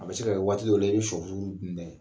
A bɛ se ka kɛ waati dɔ la i bɛ sɔfurufuru dun dɛ